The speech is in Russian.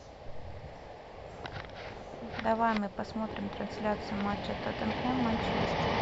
давай мы посмотрим трансляцию матча тоттенхэм манчестер